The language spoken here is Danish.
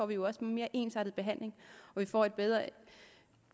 vi jo også en mere ensartet behandling og vi får en bedre